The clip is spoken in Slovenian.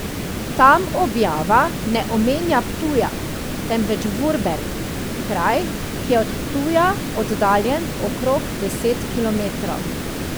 Tam objava ne omenja Ptuja, temveč Vurberk, kraj, ki je od Ptuja oddaljen okrog deset kilometrov.